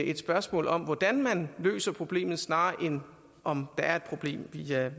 et spørgsmål om hvordan man løser problemerne snarere end om der er et problem vi er